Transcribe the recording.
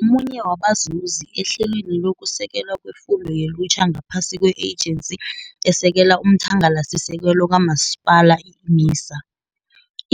Ungomunye wabazuzi ehlelweni lokuSekelwa kweFundo yeLutjha ngaphasi kwe-Ejensi eSekela umThangalasisekelo kaMasipala, i-MISA.